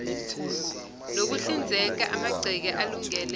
nokuhlinzeka amagceke alungele